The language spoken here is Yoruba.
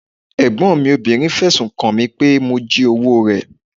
Ẹ̀gbọ́n mi obìnrin fẹ̀sùn kan mi pé mo jí owó rẹ̀.